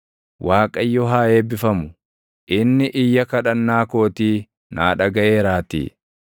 Waaqayyo haa eebbifamu! Inni iyya kadhannaa kootii naa dhagaʼeeraatii.